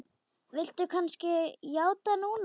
Viltu kannski játa núna?